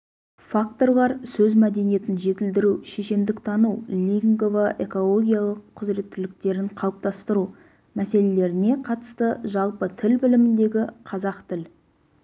факторлар сөз мәдениетін жетілдіру шешендіктану лингвоэкологиялық құзыреттіліктерін қалыптастыру мәселелеріне қатысты жалпы тіл біліміндегі қазақ тіл